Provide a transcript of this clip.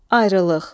Ayrılıq.